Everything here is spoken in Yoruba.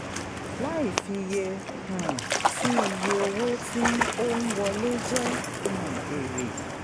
láì fiyè um sí iye owó tí ó ń wọlé jẹ́ um èrè.